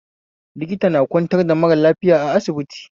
Likita na kwantar da mara lafiya a asibiti